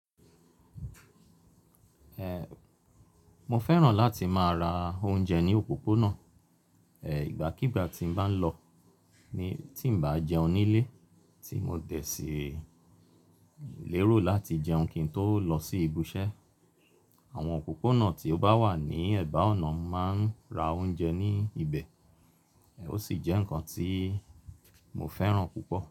Mo fẹ́ràn láti máa ra oúnjẹ ní òpópónà. Ìgbàkígbà tí n bá lọ, tí n bá jẹun nílé, tí mo dẹ̀ sí lérò láti jẹun kí n tó lọ sí ibi iṣẹ́. Àwọn òpópónà tí ó bá wà ní ẹ̀bá ọ̀nà máa ń ra oúnjẹ ní ibẹ̀. Ó sì jẹ́ nǹkan tí mo fẹ́ràn púpọ̀